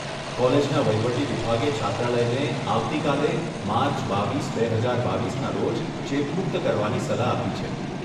કોલેજના વહીવટી વિભાગે છાત્રાલયને આવતીકાલે, માર્ચ બાવીસ, બે હજાર બાવીસના રોજ ચેપમુક્ત કરવાની સલાહ આપી છે.